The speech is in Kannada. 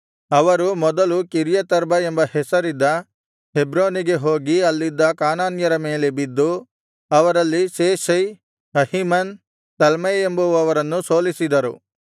ಅವರು ಮೊದಲು ಕಿರ್ಯತರ್ಬ ಎಂಬ ಹೆಸರಿದ್ದ ಹೆಬ್ರೋನಿಗೆ ಹೋಗಿ ಅಲ್ಲಿದ್ದ ಕಾನಾನ್ಯರ ಮೇಲೆ ಬಿದ್ದು ಅವರಲ್ಲಿ ಶೇಷೈ ಅಹೀಮನ್ ತಲ್ಮೈ ಎಂಬುವರನ್ನು ಸೋಲಿಸಿದರು